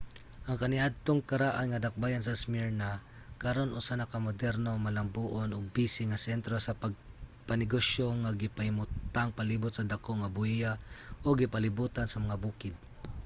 ang kaniadtong karaan nga dakbayan sa smyrna karon usa na ka moderno malambuon ug busy nga sentro sa pangnegosyo nga gipahimutang palibot sa dako nga bahiya ug gipalibotan sa mga bukid